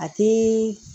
A tɛ